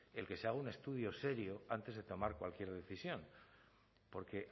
el que se haga un estudio serio antes de tomar cualquier decisión porque